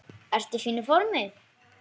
Ertu í fínu formi?